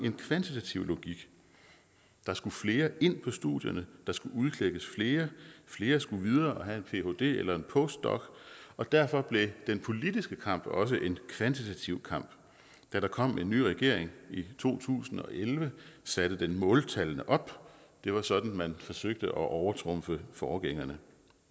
en kvantitativ logik der skulle flere ind på studierne der skulle udklækkes flere flere skulle videre og have en phd eller en postdoc og derfor blev den politiske kamp også en kvantitativ kamp da der kom en ny regering i to tusind og elleve satte den måltallene op det var sådan man forsøgte at overtrumfe forgængerne